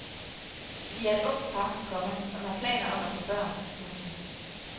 Vi er et ungt par, komma som har planer om at få børn. punktum